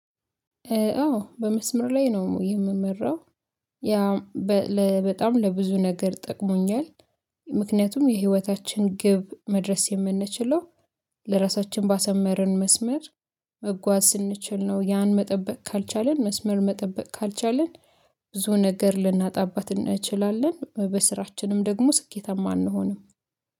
አዎ በመስመር ላይ ነው የምመራው። ያ በጣም ለብዙ ነገር ጠቅሞኛል። ምክንያቱም የህይወታችን ግብ መድረስ የምንችለው ለራሳችን ባሰመርን መስመር መጓዝ ስንችል ነው። ያን መጠበቅ ካልቻልን መስመር መጠበቅ ካልቻልን ብዙ ነገር ልናጣባት እንችላለን። በስራችንም ደግሞ ስኬታማ አንሆንም